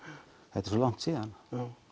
þetta er svo langt síðan